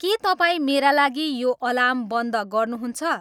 के तपाईँ मेरा लागि यो अलार्म बन्द गर्नु हुन्छ